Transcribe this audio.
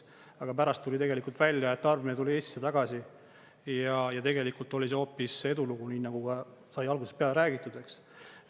Aga pärast tuli tegelikult välja, et tarbimine tuli Eestisse tagasi ja tegelikult oli see hoopis edulugu, nii nagu ka sai algusest peale räägitud, eks.